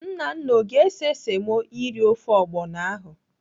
Nnanna ọ ga-ese semo eri ofe ọgbọnọ ahụ?